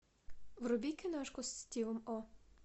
вруби киношку с стивом о